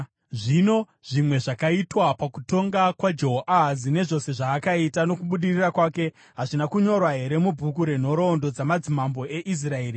Zvino zvimwe zvakaitwa pakutonga kwaJehoahazi, nezvose zvaakaita nokubudirira kwake, hazvina kunyorwa here mubhuku renhoroondo dzamadzimambo eIsraeri?